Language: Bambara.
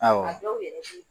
Awɔ de ye n ci